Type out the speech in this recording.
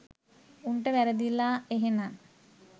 උන්ට වැරදිලා එහෙනන්